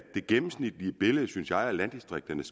det gennemsnitlige billede af landdistrikterne